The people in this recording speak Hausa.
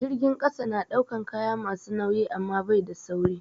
Jirgin ƙasa na ɗaukan kaya masu nauyi amma bai da sauri.